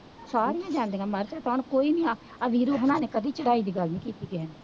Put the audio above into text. ਸਾਰੀਆਂ ਜਾਂਦੀਆਂ ਮੈਂ ਕਿਹਾ ਹੁਣ ਕੀਤੀ ਹੈ